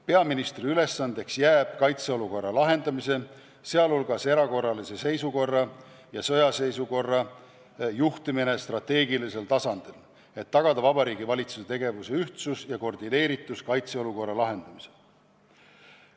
Peaministri ülesandeks jääb kaitseolukorra lahendamisel, sh erakorralise seisukorra ja sõjaseisukorra ajal juhtimine strateegilisel tasandil, et tagada Vabariigi Valitsuse tegevuse ühtsus ja koordineeritus kaitseolukorra lahendamisel.